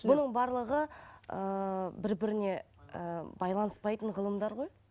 бұның барлығы ыыы бір біріне ы байланыспайтын ғылымдар ғой